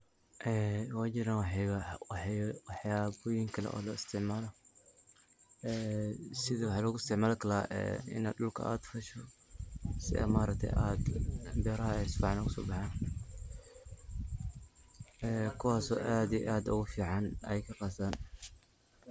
Ee way jiran waxyaba kale oo loo isticmaalo ee sida waxaa loo isticmaali kara ee ina dhulka aad fasho si aa ma aragte beraha si fican ugu so baxan ee kuwas oo aad iyo aad ogu fican ayaka khas ahaan.